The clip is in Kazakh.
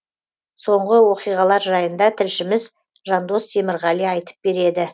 соңғы оқиғалар жайында тілшіміз жандос темірғали айтып береді